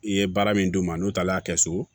I ye baara min d'u ma n'o taara kɛ so